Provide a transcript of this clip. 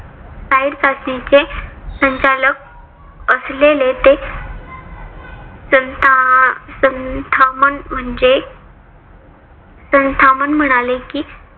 side चाचणीचे संचालक असलेले ते संथामान म्हणजे संथामान म्हणाले कि